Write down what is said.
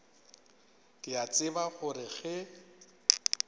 ke a tseba gore ge